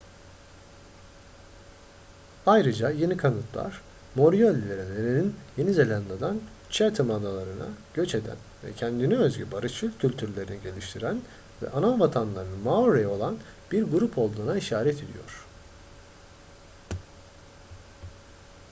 ayrıca yeni kanıtlar moriori'lerin yeni zelanda'dan chatham adaları'na göç eden ve kendine özgü barışçıl kültürlerini geliştiren ve anavatanları maori olan bir grup olduğuna işaret ediyor